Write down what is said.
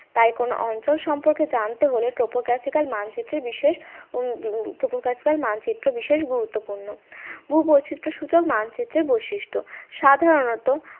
তাই কোন অঞ্চল সম্পর্কে জানতে হলে topographical মানচিত্রের বিশেষ topographical মানচিত্র বিশেষ গুরুত্বপূর্ণ ভূবৈচিত্রসূচক মানচিত্রের বৈশিষ্ট্য সাধারণত